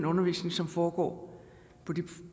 undervisning som foregår på de